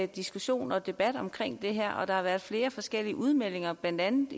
diskussioner og debat om det her og der har været flere forskellige udmeldinger blandt andet